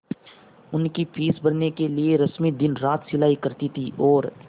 उसकी फीस भरने के लिए रश्मि दिनरात सिलाई करती थी और